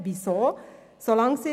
Weshalb dies?